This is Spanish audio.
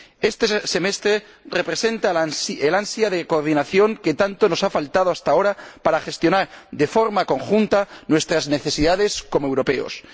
Este semestre representa el ansia de coordinación que tanto nos ha faltado hasta ahora para gestionar de forma conjunta nuestras necesidades como europeos.